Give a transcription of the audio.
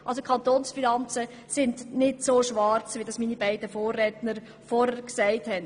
Die Kantonsfinanzen sehen somit nicht so düster aus, wie es meine beiden Vorredner dargestellt haben.